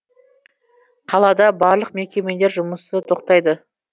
қалада барлық мекемелер жұмысы тоқтайды